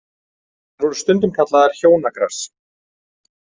Þær voru stundum kallaðar hjónagras.